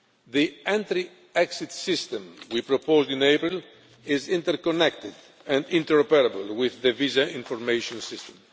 The Entry Exit System we proposed in April is interconnected and interoperable with the Visa Information System.